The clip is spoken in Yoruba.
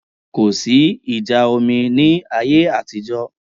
Kò sí ìjà omi ní ayé àtijọ́